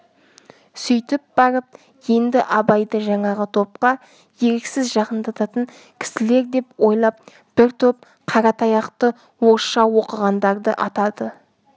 сөйтіп барып енді абайды жаңағы топқа еріксіз жақындататын кісілер деп ойлап бір топ қаратаяқты орысша оқығандарды атады